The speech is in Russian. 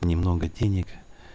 немного денег